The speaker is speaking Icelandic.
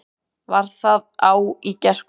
Var það á í gærkvöldi?